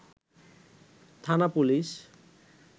থানা পুলিশ